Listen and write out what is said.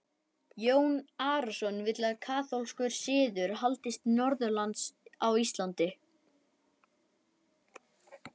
Jón Arason vill að kaþólskur siður haldist norðanlands á Íslandi.